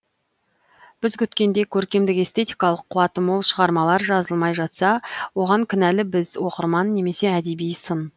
біз күткендей көркемдік эстетикалық қуаты мол шығармалар жазылмай жатса оған кінәлі біз оқырман немесе әдеби сын